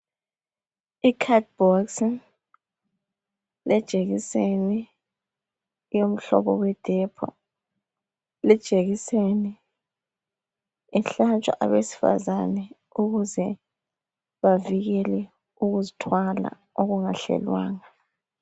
Ikhadibhokisi lejekiseni yomhlobo weDepho lijekiseni ihlatshwa abesifazana ukuze bavikelwe ukuzithwala okungahlelwanga.